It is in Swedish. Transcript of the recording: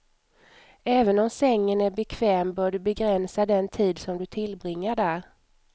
Även om sängen är bekväm bör du begränsa den tid som du tillbringar där.